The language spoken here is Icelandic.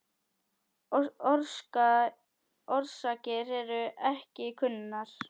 Orsakir eru ekki kunnar.